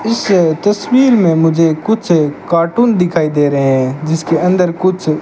इस तस्वीर में मुझे कुछ कार्टून दिखाई दे रहे हैं जिसके अंदर कुछ--